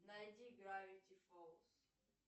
найди гравити фолз